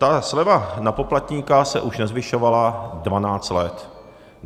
Ta sleva na poplatníka se už nezvyšovala dvanáct let.